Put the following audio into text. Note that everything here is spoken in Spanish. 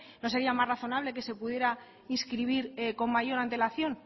no sería más razonable que se pudiera inscribir con mayor antelación